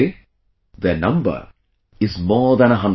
Today their number is more than a hundred